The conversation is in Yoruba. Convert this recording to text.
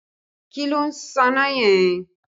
Kí ló ń sáná yẹn?